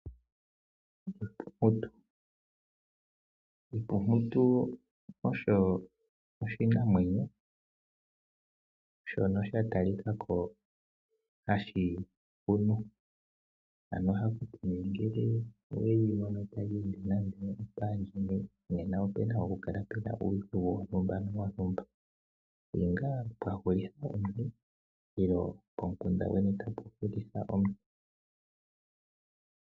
Empumputu, empumputu osho oshinamwenyo shono sha talika ko hashi hunu ohaku tiwa nee ngele oweshi mono tashi nande opandjeni nena ope na oku holoka uudhigu wontumba ongele otu hulitha omuntu nenge pomukunda gweni tapu hulitha omuntu.